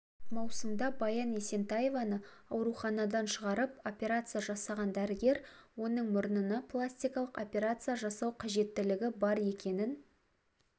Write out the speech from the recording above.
маусымда баян есентаеваны ауруханадан шығарып операция жасаған дәрігер оның мұрнына пластикалық операция жасау қажетілігі бар екенін